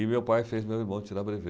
E meu pai fez meu irmão tirar brevê.